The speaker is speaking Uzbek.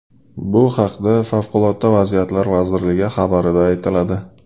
Bu haqda Favqulodda vaziyatlar vazirligi xabarida aytiladi .